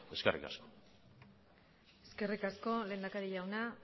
eskerrik asko eskerrik asko lehendakari jauna